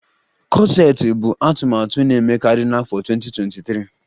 Kọseti bụ atụmatụ na-emekarị n'afọ 2023